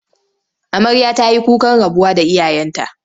Amarya ta yi kukan rabuwa da iyayenta.